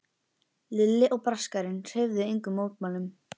Lilli og Braskarinn hreyfðu engum mótmælum.